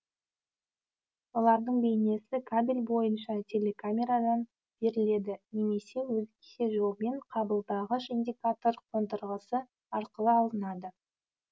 олардың бейнесі кабель бойынша телекамерадан беріледі немесе өзгеше жолмен қабылдағыш индикатор қондырғысы арқылы алынады